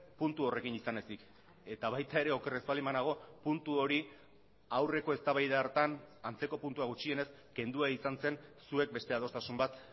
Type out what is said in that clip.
puntu horrekin izan ezik eta baita ere oker ez baldin banago puntu hori aurreko eztabaida hartan antzeko puntua gutxienez kendua izan zen zuek beste adostasun bat